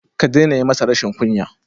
Ka daina yi masa rashin kunya.